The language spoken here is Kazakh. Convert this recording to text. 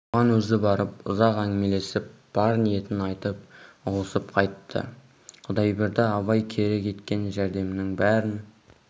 оған өзі барып ұзақ әңгімелесіп бар ниетін айтып ұғысып қайтты құдайберді абай керек еткен жәрдемінің бәрін